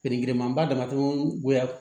Feere manba damatɛmɛ